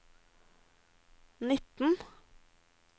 nitten